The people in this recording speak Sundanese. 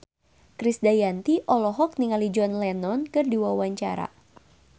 Krisdayanti olohok ningali John Lennon keur diwawancara